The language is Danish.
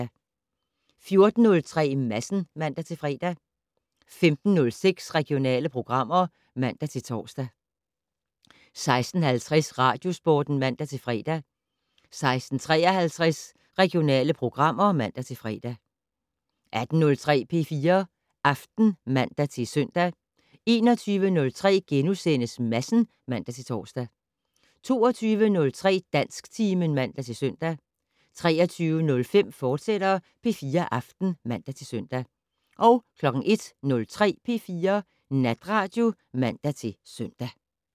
14:03: Madsen (man-fre) 15:06: Regionale programmer (man-tor) 16:50: Radiosporten (man-fre) 16:53: Regionale programmer (man-fre) 18:03: P4 Aften (man-søn) 21:03: Madsen *(man-tor) 22:03: Dansktimen (man-søn) 23:05: P4 Aften, fortsat (man-søn) 01:03: P4 Natradio (man-søn)